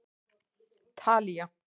Talía